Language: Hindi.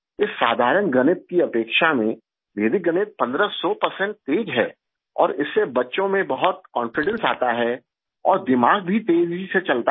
इस साधारण गणित की अपेक्षा में वैदिक गणित पंद्रह सौ परसेंट तेज है और इससे बच्चों में बहुत कॉन्फिडेंस आता है और दिमाग भी तेजी से चलता है